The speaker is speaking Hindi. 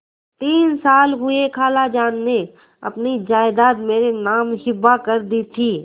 तीन साल हुए खालाजान ने अपनी जायदाद मेरे नाम हिब्बा कर दी थी